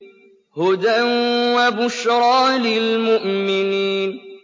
هُدًى وَبُشْرَىٰ لِلْمُؤْمِنِينَ